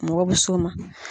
Mɔgɔ bɛ so ma.